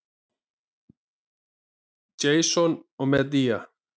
Jason og Medea.